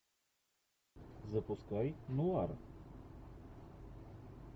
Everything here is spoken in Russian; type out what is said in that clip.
запускай нуар